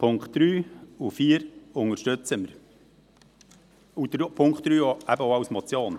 Die Punkte 3 und 4 unterstützen wir, Punkt 3 eben auch als Motion.